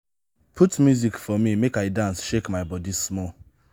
put music for me make i dance shake my body small